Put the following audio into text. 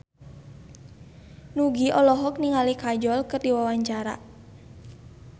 Nugie olohok ningali Kajol keur diwawancara